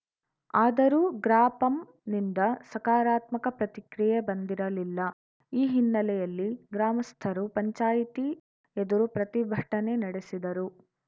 ಆದರೂ ಗ್ರಾಪಂನಿಂದ ಸಕರಾತ್ಮಕ ಪ್ರತಿಕ್ರಿಯೆ ಬಂದಿರಲಿಲ್ಲ ಈ ಹಿನ್ನೆಲೆಯಲ್ಲಿ ಗ್ರಾಮಸ್ಥರು ಪಂಚಾಯ್ತಿ ಎದುರು ಪ್ರತಿಭಟನೆ ನಡೆಸಿದರು